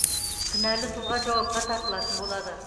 кінәлі тұлға жауапқа тартылатын болады